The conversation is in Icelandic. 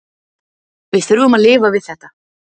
Við þurfum að lifa við þetta.